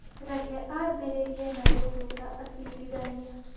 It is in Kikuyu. Reke ambĩrĩrie na gũthuura acirithania.